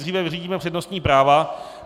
Nejdříve vyřídíme přednostní práva.